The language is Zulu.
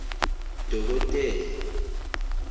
dokotela